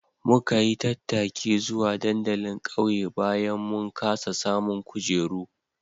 Muka yi tattaki zuwa dandalin ƙauye bayan mun kasa samun kujeru